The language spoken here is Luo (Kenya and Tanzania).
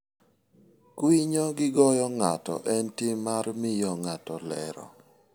Kwinyo gi goyo ng'ato en tim mar miyo ng'ato lero.